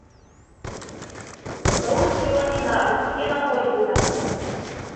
русский ламинат где находится